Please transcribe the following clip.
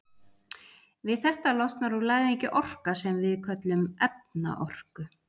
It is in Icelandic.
Við þetta losnar úr læðingi orka sem við köllum efnaorku.